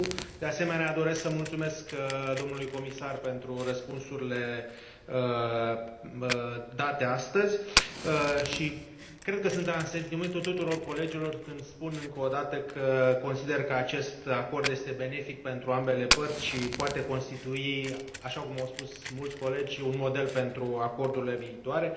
De asemenea, doresc să mulțumesc domnului comisar pentru răspunsurile date astăzi și cred că sunt în asentimentul tuturor colegilor când spun încă o dată că sunt de părere că acest acord este benefic pentru ambele părți și poate constitui, așa cum au spus mulți colegi, un model pentru acordurile viitoare.